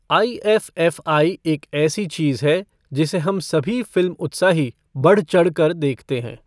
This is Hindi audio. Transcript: आईएफ़एफ़आई एक ऐसी चीज़ है, जिसे हम सभी फिल्म उत्साही बढ़चढ़ कर देखते हैं।